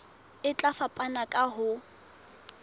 e tla fapana ka ho